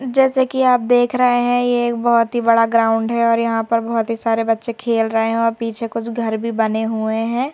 जैसे कि आप देख रहे हैं ये एक बहुत ही बड़ा ग्राउंड है और यहां पर बहुत ही सारे बच्चे खेल रहे हैं और पीछे कुछ घर भी बने हुए हैं।